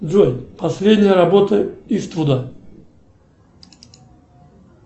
джой последняя работа иствуда